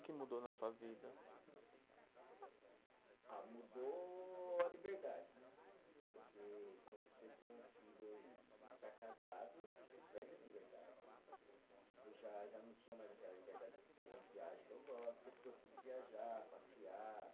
O que mudou na sua vida? Ah, mudou a liberdade né, porque quando você tem um filho e e está casado, você perde a liberdade, tipo, já já não tinha mais aquela liberdade de as viagens que eu gosto, sempre gostei de viajar, passear.